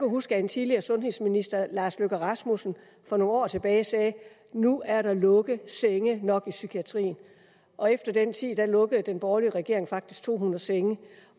huske at en tidligere sundhedsminister herre lars løkke rasmussen for nogle år tilbage sagde nu er der lukket senge nok i psykiatrien og efter den tid lukkede den borgerlige regering faktisk to hundrede senge